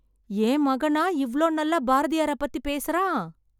என் மகனா இவ்ளோ நல்லா பாரதியாரை பத்தி பேசறான்.